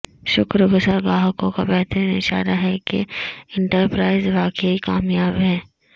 شکر گزار گاہکوں کا بہترین اشارہ ہے کہ انٹرپرائز واقعی کامیاب ہے